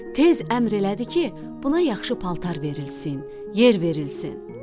Tez əmr elədi ki, buna yaxşı paltar verilsin, yer verilsin.